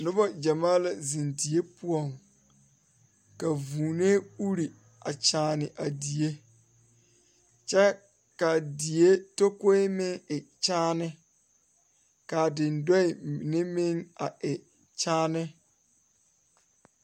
Noba gyamaa la zeŋ die poɔ ka vūūnee uri a nyɛne a die kyɛ kaa die takoe meŋ e kyaane kaa dendɔɛ mine meŋ a e kyaane.